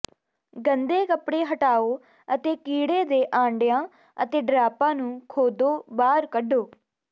ਗੰਦੇ ਕੱਪੜੇ ਹਟਾਓ ਅਤੇ ਕੀੜੇ ਦੇ ਆਂਡਿਆਂ ਅਤੇ ਡਰਾਪਾਂ ਨੂੰ ਖੋਦੋ ਬਾਹਰ ਕੱਢੋ